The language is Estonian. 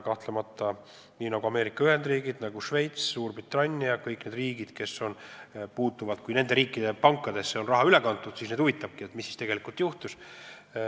Kahtlemata huvitab Ameerika Ühendriike, nagu ka Šveitsi, Suurbritanniat ja muidki riike, keda see puudutab, kuna nende pankadesse on raha üle kantud, mis siis tegelikult juhtus.